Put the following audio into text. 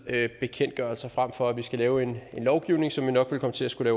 bekendtgørelser frem for at vi skal lave en lovgivning som vi nok vil komme til at skulle